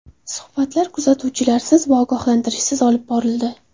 Suhbatlar kuzatuvchilarsiz va ogohlantirishsiz olib borildi.